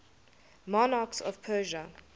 monarchs of persia